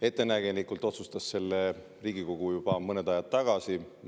Ettenägelikult otsustas Riigikogu seda juba mõned ajad tagasi.